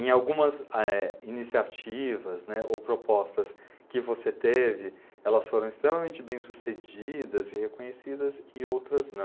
Em algumas a eh, iniciativas, né, ou propostas que você teve, elas foram extremamente bem sucedidas e reconhecidas e outras não.